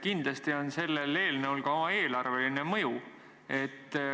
Kindlasti on sellel eelnõul ka oma eelarveline mõju.